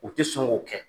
U tɛ sɔn k'o kɛ